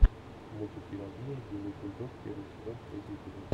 мультик пелагея белый бульдог первый сезон третий эпизод